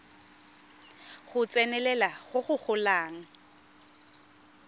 go tsenelela go go golang